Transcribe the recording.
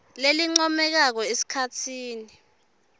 lelincomekako esikhatsini